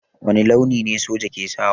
Wani launi ne soja ke sawa?